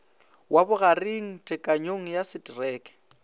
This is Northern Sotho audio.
wa bogareng tekanyong ya setereke